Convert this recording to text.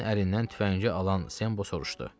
Leqrinin əlindən tüfəngi alan Sembo soruşdu.